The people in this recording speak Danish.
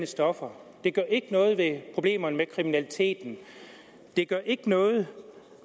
stoffer det gør ikke noget ved problemerne med kriminaliteten det gør ikke noget